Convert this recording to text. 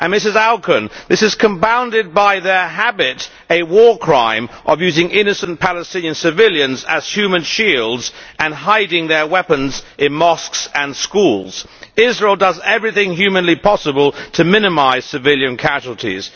Ms Auken, this is compounded by their habit a war crime of using innocent Palestinian civilians as human shields and hiding their weapons in mosques and schools. Israel does everything humanly possible to minimise civilian casualties